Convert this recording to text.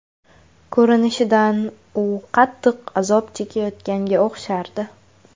Ko‘rinishidan, u qattiq azob chekayotganga o‘xshardi.